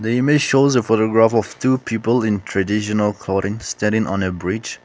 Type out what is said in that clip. the image shows the photograph of two people traditional covering standing on a bridge.